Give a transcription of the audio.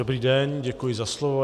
Dobrý den, děkuji za slovo.